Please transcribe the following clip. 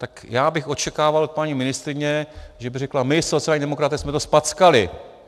Tak já bych očekával od paní ministryně, že by řekla: My sociální demokraté jsme to zpackali.